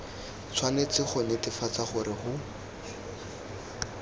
tshwanetse go netefatsa gore go